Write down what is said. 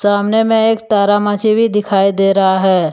सामने में एक तारा माछी भी दिखाई दे रहा है।